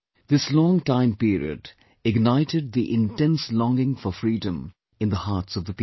This long time period ignited the intense longing for freedom in the hearts of the people